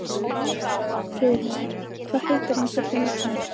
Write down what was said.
Friðleifur, hvað heitir þú fullu nafni?